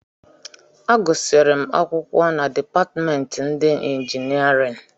Agụsịrị m akwụkwọ na dipatịmentị ndị injinịarịn